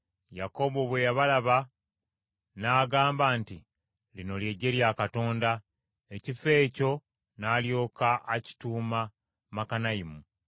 Yakobo bwe yabalaba n’agamba nti, “Lino ggye lya Katonda.” Ekifo ekyo n’alyoka akituuma Makanayimu.